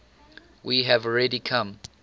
we have already come